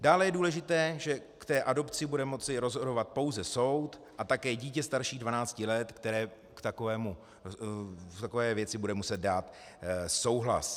Dále je důležité, že v té adopci bude moci rozhodovat pouze soud a také dítě starší 12 let, které k takové věci bude muset dát souhlas.